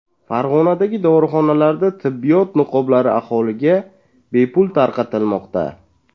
Farg‘onadagi dorixonalarda tibbiyot niqoblari aholiga bepul tarqatilmoqda.